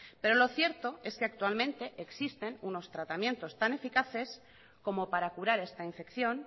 pero lo cierto es que actualmente existen unos tratamientos tan eficaces como para curar esta infección